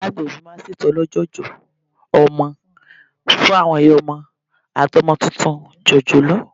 Àwọn ìyá agbẹ̀bí máa n ṣe ètò olójòjò ọmọ fún àwọn ìyá ọmọ àti ọmọ tuntun jòjòló